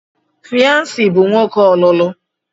Fyansi bụ nwoke ọlụlụ.